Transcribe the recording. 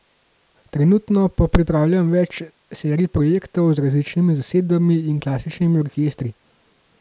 Trenutno pa pripravljam več serij projektov z različnimi zasedbami in klasičnimi orkestri.